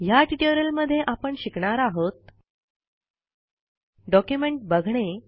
ह्या ट्युटोरियलमध्ये आपण शिकणार आहोत डॉक्युमेंट बघणे